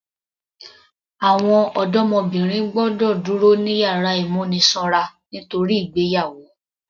Àwọn ọdọmọbìnrin gbọ́dọ̀ dúró ní yàrá ìmúnisanra nítorí ìgbéyàwó